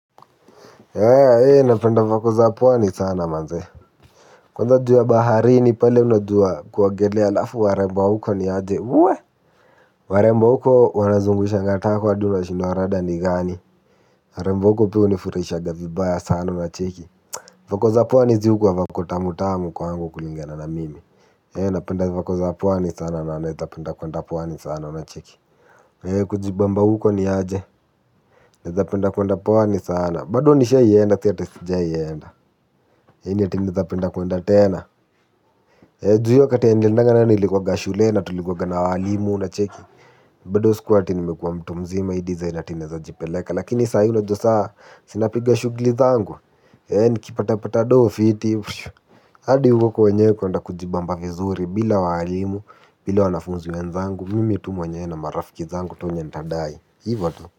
Eeh napenda vako za pwani sana manze, kwanza juu ya baharini pale unajua kuogelea halafu warembo wa huko niaje, wueh, warembo wa huko wanazungushanga tako hadi unashindwa rada ni gani. Warembo wa huko pia hunifurahisha vibaya sana, unacheki? Vako za pwani zi hukuwa vako tamu tamu kwangu kulingana na mimi, eeh, napenda vako za pwani sana na naweza penda kuenda pwani sana, unacheki? Kujibamba huko niaje napenda kuenda pwani sana, bado nishai enda si ati sijai enda, eeh ni ati naweza penda kuenda tena juu hiyo wakati niliendanga nayo nilikuwanga shule na tulikuwanga na waalimu, unacheki? Badu sikuwa ati nimekuwa mtu mzima hii design ati naweza jipeleka lakini saa hii unajua sa si napiga shughuli zangu. Nikipata pata doo fiti, hadi huko wenyewe kuenda kujibamba vizuri bila waalimu, bila wanafunzi wenzangu, mimi tu mwenyewe na marafiki zangu tu wenye ntadai, hivo tu.